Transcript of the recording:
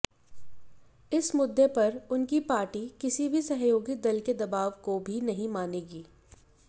इस मुद्दे पर उनकी पार्टी किसी भी सहयोगी दल के दबाव को भी नहीं मानेगी